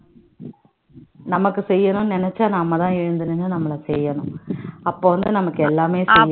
நமக்கு செய்யணும்னு நெனச்சா நம்ம தான் எழுந்து நின்னு நம்மள செய்யணும் அப்போ வந்து நமக்கு எல்லாமே